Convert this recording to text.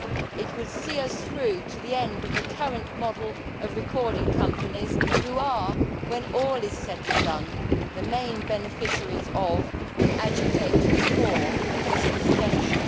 It would see us through to the end of the current model of recording companies, which are, when all is said and done, the main beneficiaries of, and agitators for, this extension.